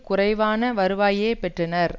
குறைவான வருவாயையே பெற்றனர்